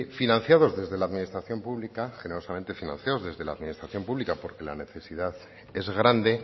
financiados desde la administración pública que no solamente financiados desde la administración pública porque la necesidad es grande